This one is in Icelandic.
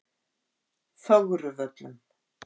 Fögruvöllum